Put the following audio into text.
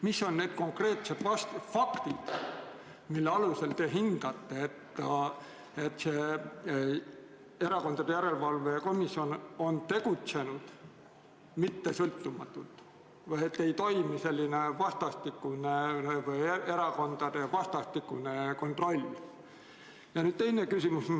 Mis on need konkreetsed faktid, mille alusel te hindate, et Erakondade Rahastamise Järelevalve Komisjon on tegutsenud mittesõltumatult või et erakondade vastastikune kontroll ei toimi?